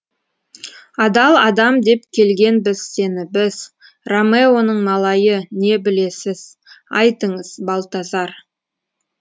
адал адам деп келгенбіз сені біз ромеоның малайы не білесіз айтыңыз балтазар